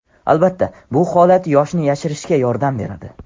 Albatta, bu holat yoshni yashirishga yordam beradi.